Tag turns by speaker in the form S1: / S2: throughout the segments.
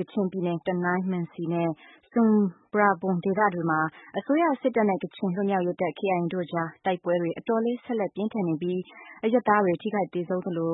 S1: ကချင်ပြည်နယ် တနိုင်း၊ မံစီနဲ့ ဆွမ်ပရာဘွမ် ဒေသတွေမှာ အစိုးရစစ်တပ်နဲ့ ကချင်လွတ်မြောက်ရေးတပ် KIA တို့ကြား တိုက်ပွဲတွေ အတော်လေး ဆက်လက်ပြင်းထန်နေပြီး အရပ်သားတွေ ထိခိုက်သေဆုံးသလို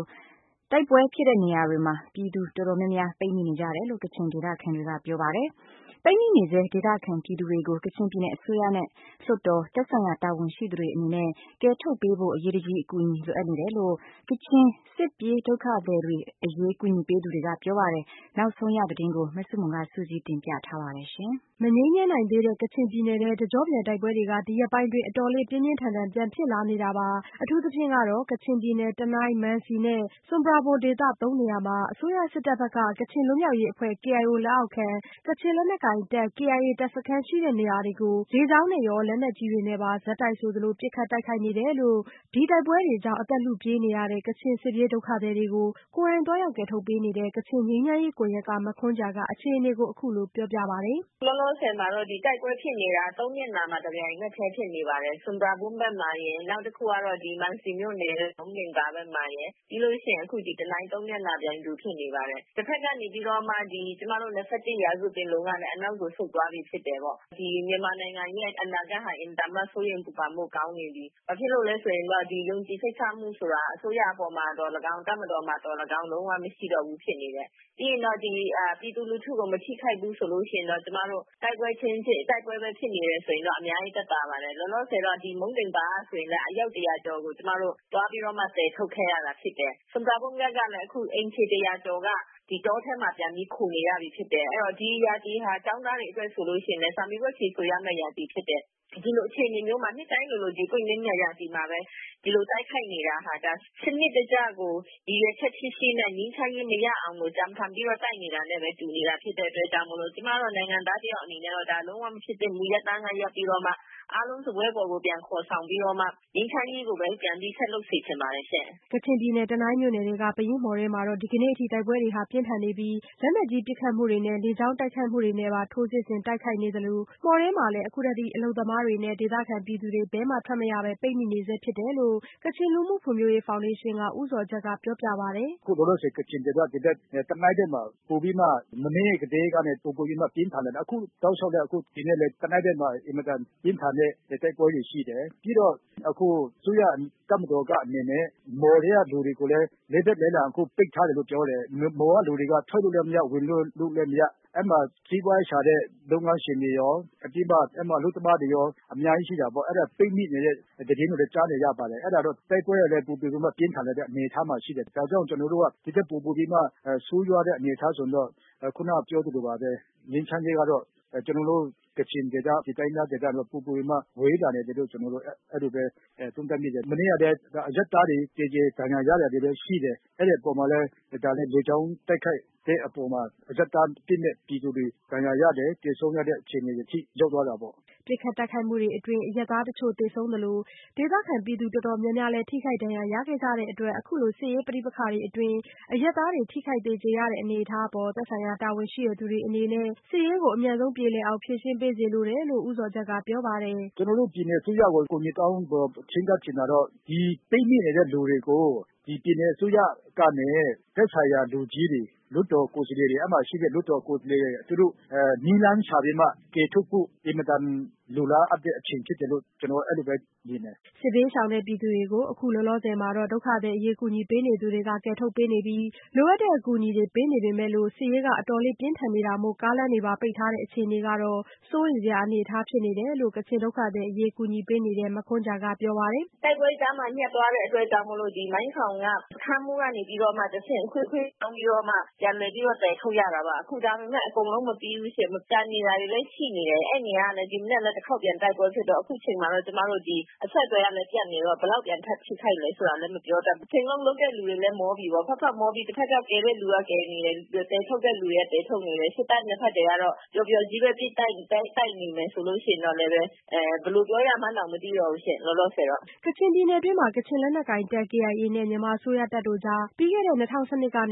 S1: တိုက်ပွဲဖြစ်တဲ့နေရာတွေမှာ ပြည်သူတော်တော်များများ ပိတ်မိနေကြတယ်လို့ ကချင်ဒေသခံတွေက ပြောပါတယ်။ ပိတ်မိနေဆဲ ဒေသခံပြည်သူတွေကို ကချင်ပြည်နယ်အစိုးရနဲ့ လွှတ်တော် ၊ သက်ဆိုင်ရာတာဝန်ရှိသူတွေအနေနဲ့ ကယ်ထုတ်ပေးဖို့ အရေးတကြီး အကူညီလိုအပ်နေတယ်လို့ ကချင်စစ်ပြေးဒုက္ခသည်တွေအရေးကူညီသူတွေကပြောပါတယ်။ နောက်ဆုံးရသတင်း မဆုမွန် စုစည်းတင်ပြပေးထားပါတယ်။ မငြိမ်းချမ်းနိုင်သေးတဲ့ ကချင်ပြည်နယ်ထဲ တကျော့ပြန်တိုက်ပွဲတွေ ဒီရက်ပိုင်း တော်တော်လေး ပြင်းပြင်းထန်ထန် ပြန်ဖြစ်လာနေတာပါ။ အထူးသဖြင့်ကတော့ ကချင်ပြည်နယ် တနိုင်း၊ မန်စီ နဲ့ ဆွမ်ပရာဘွမ်ဒေသ သုံးနေရာမှာ အစိုးရစစ်တပ်ဘက်က ကချင်လွတ်မြောက်ရေးအဖွဲ့ KIO လက်အောက်ခံ ကချင်လက်နက်ကိုင်တပ် KIA တပ်စခန်းရှိတဲ့နေရာတွေကို လေကြောင်းနဲ့ရော လက်နက်ကြီးတွေနဲ့ပါ ဆက်တိုက်ဆိုသလို ပစ်ခတ်တိုက်ခိုက်နေတယ်လို့ ဒီတိုက်ပွဲတွေကြောင့် အသက်လုပြေးနေရတဲ့ ကချင်စစ်ပြေးဒုက္ခသည်တွေကို ကိုယ်တိုင်သွားရောက် ကယ်ထုတ်ပေးနေတဲ့ ကချင်ငြိမ်းချမ်းရေးကွန်ရက်က မခွန်ဂျာက အခြေအနေကို အခုလိုပြောပြပါတယ်။
S2: "အခုလောလောဆယ်မှာ တိုက်ပွဲဖြစ်နေတာ ၃ နေရာမှာ တပြိုက်နက်တည်းဖြစ်နေပါတယ်။ ဆွမ်ပရာဘွမ်ဘက်မှာရယ်၊ နောက်တခုက မံစီမြို့နယ်ထဲက မုံးဒိန်ပါ ဘက်မှာရယ်၊ နောက်ပြီးတော့ တနိုင်းဘက်မှာရယ် နေရာ ၃ ခုမှာ ပြိုင်တူဖြစ်နေပါတယ်။ တဘက်ကနေပြီးတော့မှာ ကျမတို့ ၂၁ ရာစုပင်လုံကလည်း နောက်ကိုဆုတ်သွားပြီဖြစ်တယ်ပေါ့။ ဒီမြန်မာနိုင်ငံရဲ့ အနာဂတ်ဟာ အင်မတန်မှာ စိုးရိမ်ပူပန်ဖို့ကောင်းနေပြီ။ ဘာဖြစ်လို့လဲဆိုတော့ ယုံကြည်စိတ်ချမှုဆိုတာ ၊ အစိုးရမှာအပေါ်မှာသော်လည်းကောင်း၊ တပ်မတော်အပေါ်မှာသော်လည်းကောင်း၊ လုံးဝမရှိတော့ဘူးဖြစ်နေတယ်။ ပြီးတော့ ပြည်သူလူထုကိုမထိခိုက်ဘူးပဲ တိုက်ပွဲပဲဖြစ်နေတယ်ဆိုရင် အများကြီးသက်သာပါတယ်။ လောလောဆယ်တော့ မုံးဒိန်ပါမှာဆိုရင်လည်း အယောက် ၁၀၀ ကျော်ကို ကျမတို့ သွားပြီးတော့ ကယ်ထုတ်ခဲ့ရတာဖြစ်တယ်။ ဆွပ်ပရာဘွမ်ဘက်ကလည်း အခုအိမ်ခြေ ၁၀၀ ကျော်က တောထဲမှာ ပြန်ပြီးခိုနေရပြီဖြစ်တယ်။ အဲဒီတော့ ဒီရာသီဟာ ကျောင်းသားတွေအတွက် စာမေးပွဲဖြေဆိုရမယ့် ရာသီဖြစ်တယ်။ ဒီ်လိုအခြေအနေမျိုးမှာ နှစ်တိုင်းလိုလို ပွင့်လင်းတဲ့ရာသီမှာပဲ၊ ဒီလိုတိုက်ခိုက်နေတာဟာ စနစ်တကျကို ရည်ရွယ်ချက်ရှိရှိနဲ့ ငြိမ်းချမ်းရေးမရအောင်၊ ကြံဖန်ပြီးတော့ တိုက်နေတာနဲ့ပဲ တူတာဖြစ်တဲ့အတွက်ကြောင့်မို့လို့၊ ကျမတော့ နိုင်ငံသားတစ်ယောက်အနေနဲ့ လုံးဝမဖြစ်သင့်ဘူး၊ ရပ်တန်းကရပ်ပြီး၊ အားလုံးစားပွဲပေါ်ကိုပြန်ခေါ်ဆောင်ပြီးတော့မှ ငြိမ်းချမ်းရေးကို ပြန်ပြီးဆက်လုပ်စေချင်ပါတယ်။
S1: " ကချင်ပြည်နယ် တနိုင်းမြို့နယ် ပယင်းမှော်ထဲမှာ ဒီကနေ့အထိ တိုက်ပွဲတွေပြင်းထန်နေပြီး လက်နက်ကြီးပစ်ခတ်မှုတွေနဲ့ လေကြောင်းတိုက်ခိုက်မှုတွေနဲ့ပါ ထိုးစစ်ဆင်တိုက်ခိုက်နေသလို မှော်ထဲမှာလည်းအခုထက်ထိ အလုပ်သမားတွေနဲ့ ဒေသခံပြည်သူတွေ ဘယ်မှ ထွက်မရဘဲ ပိတ်မိနေဆဲဖြစ်တယ်လို့ ကချင်လူမှုဖွံ့ဖြိုးရေးဖောင်ဒေးရှင်းက ဦးဇော်ဂျတ်က ပြောပြပါတယ်။
S3: "ခုလောလောဆယ် ကချင်ပြည်နယ် တနိုင်းဘက်မှာ မနေ့ကတည်းကနေ ပိုပြီးပြင်းထန်နေပါတယ်။ အခုတောက်လျှောက်လည်း တနိုင်းဘက်မှာ အင်မတန်ပြင်းထန်တဲ့ တိုက်ပွဲတွေရှိတယ်။ ပြီးတော့ အခုအစိုးရတပ်မတော်က မှော်ထဲကလူတွေကိုလည်း လေးဘက်လေးတန် ပိတ်ထားတယ်လို့ ပြောတယ်။ မှော်က လူတွေက ထွက်လို့လည်းမရ၊ ဝင်လို့လည်း မရ၊ အဲဒီမှာ စီးပွားရှားတဲ့ လုပ်ငန်းရှင်တွေရော၊ အလုပ်သမားတွေရော၊ အများကြီးရှိပြီး၊ ပိတ်မိနေတဲ့သတင်းတွေလည်း ကြားပါတယ်။ တိုက်ပွဲကလည်း ပိုပြီးတော့ ပြင်းထန်လာတဲ့ အနေအထား မှာရှိတယ်။ ဒါကြောင့် ကျနော်တို့က ဒီထက်ပိုပြီးတော့ ဆိုးရွားတဲ့အနေအထားဆိုရင်တော့ ခုနကပြောသလိုပါပဲ ငြိမ်းချမ်းရေးက ကျနော်တို့ ကချင်ဒေသ၊ တိုင်းရင်းသားဒေသတွေမှာ ပိုပြီးတော့ ဝေးလာနေတယ်လို့ သုံးသပ်မိတယ်။ မနေ့ကလည်း အရပ်သားတွေ သေကြေဒဏ်ရာရတာတွေလည်း ရှိတယ်။ လေကြောင်းတိုက်ခိုက်မှုကြောင့် အပြစ်မဲ့တဲ့ အရပ်သားပြည်သူတွေ ဒဏ်ရာရတာတွေ၊ သေဆုံးရတဲ့အခြေအနေတွေ ရောက်သွားတာပေါ့။"
S1: ပစ်ခတ်တိုက်ခိုက်မှုတွေအတွင်း အရပ်သားအချို့ သေဆုံးသလို ဒေသခံပြည်သူတော်တော်များများလည်း ထိခိုက်ဒဏ်ရာရခဲ့ကြတဲ့အတွက် အခုလို စစ်ရေးပဋိပက္ခတွေအတွင်း အရပ်သားတွေ ထိခိုက်သေကြေရတဲ့ အနေအထားအပေါ် သက်ဆိုင်ရာတာဝန်ရှိသူတွေအနေနဲ့ စစ်ရေးကို အမြန်ဆုံးပြေလည်အောင် ဖြေရှင်းပေးစေလိုတယ်လို့လည်း ဦးဇော်ဂျတ်ကပြောပါတယ်။
S3: "ကျနော်တို့ ပြည်နယ်အစိုးရကို အကူအညီတောင်း၊ ချဉ်းကပ်ချင်တာတော့ ပိတ်မိနေတဲ့လူတွေကို ပြည်နယ်အစိုးရက သက်ဆိုင်ရာလူကြီးတွေ၊ လွှတ်တော်ကိုယ်စားလှယ်တွေ နည်းလမ်းရှာပြီးမှ ကယ်ထုတ်ဖို့ အင်မတန်လိုအပ်တဲ့အချိန် ဖြစ်တယ်လို့ပဲ မြင်တယ်။
S1: " စစ်ဘေးရှောင်တဲ့ပြည်သူတွေကို အခုလောလောဆယ်မှာတော့ ဒုက္ခသည်အရေးကူညီပေးနေသူတွေက ကယ်ထုတ်ပေးနေပြီး လိုအပ်တဲ့အကူအညီတွေပေးနေပေမဲ့ စစ်ရေးက အတော်လေးပြင်းထန်နေတာမို့ ကားလမ်းတွေပါ ပိတ်ထားတဲ့အခြေအနေကတော့ စိုးရိမ်စရာအနေအထားဖြစ်နေတယ်လို့လည်း ကချင်ဒုက္ခသည်အရေးကူညီပေးနေသူ မခွန်ဂျာကပြောပါတယ်။
S2: "တိုက်ပွဲကြားမှာ ညပ်သွားတဲ့အတွက်ကြောင့်မို့လို့၊ မိုင်းထောင်က စခန်းမှူးကနေပြီးတော့ အဆင့်ဆင့်ခွင့်တောင်းပြီးတော့မှ ပြန်လည်ပြီးတော့ သယ်ထုတ်ရတာပါ။ ဒါပေမဲ့အခုအကုန်လုံးမပြီးဘူးရှင့်။ ကျန်နေတာတွေလည်း ရှိနေတယ်။ အဲဒီနေရာကနေ အခုဒီမနက် ပြန်ပြီးတော့ တိုက်ပွဲဖြစ်တော့ ၊ အခုချိန်မှာတော့ အဆက်အသွယ်ကလည်းပြတ်နေတော့၊ ဘယ်လောက်ထိခိုက်သလဲဆိုတာလည်း မပြောတတ်ဘူး။ တချိန်လုံးလုပ်တဲ့လူတွေလည်း မောပြီ၊ တဘက်က ကယ်တဲ့လူက ကယ်နေတယ်၊ သယ်ထုတ်တဲ့လူကသယ်ထုတ်နေတယ်။ ၂ ဘက်စစ်တပ်တွေကတော့ ပျော်ပျော်ကြီးပဲ တိုက်နေမယ်ဆိုလို့ရှိရင်တော့လည်း လောလောဆယ်တော့ ဘယ်လိုပြောရမှန်းတောင်မသိတော့ဘူးရှင့်။
S1: " ကချင်ပြည်နယ်တွင်းမှာ ကချင်လက်နက်ကိုင်တပ်ဖွဲ့ ကေအိုင်အေနဲ့ မြန်မာအစိုးရစစ်တပ်တို့ကြား ပြီးခဲ့တဲ့ ၂၀၁၂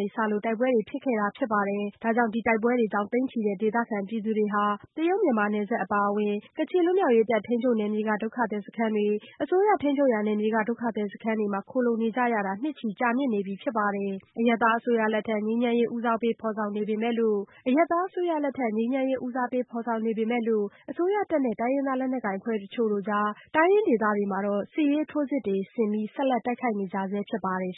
S1: ကစလို့ တိုက်ပွဲတွေ ဖြစ်ခဲ့တာဖြစ်ပြီး ကချင်တိုက်ပွဲကြောင့် သိန်းချီတဲ့ ဒေသခံကချင်ပြည်သူတွေဟာ တရုတ်-မြန်မာနယ်စပ်အပါအဝင် ကချင်လွတ်မြောက်ရေးတပ်ထိန်းချုပ်နယ်မြေက ဒုက္ခသည်စခန်းတွေ၊ အစိုးရထိန်းချုပ်ရာနယ်မြေက ဒုက္ခသည်စခန်းတွေမှာ ခိုလှုံနေကြရတာ နှစ်ချီကြာမြင့်နေပြီဖြစ်ပါတယ်။ အရပ်သားအစိုးရလက်ထက် ငြိမ်းချမ်းရေး ဦးစားပေးဖော်ဆောင်နေပေမဲ့လို့ အစိုးရတပ်နဲ့ တိုင်းရင်းသားလက်နက်ကိုင်အဖွဲ့အချို့ကြား တိုင်းရင်းဒေသတွေမှာ စစ်ရေးထိုးစစ်တွေဆင် တိုက်ခိုက်နေကြဆဲဖြစ်ပါတယ်